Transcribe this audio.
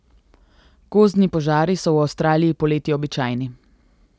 Gozdni požari so v Avstraliji poleti običajni.